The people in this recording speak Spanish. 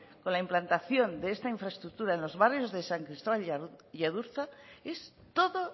con la implantación de infraestructura en los barrios de san cristóbal y adurza es todo